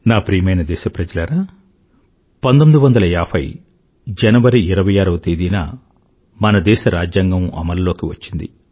నా ప్రియమైన దేశప్రజలారా 1950 జనవరి26 వ తేదీన మన దేశ రాజ్యాంగం అమలులోకి వచ్చింది